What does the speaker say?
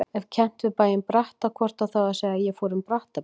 Ef kennt við bæinn Bratta hvort á þá að segja: ég fór um Brattabrekku.